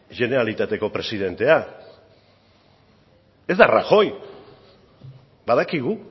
generalitateko presidentea ez da rajoy badakigu